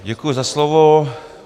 Děkuji za slovo.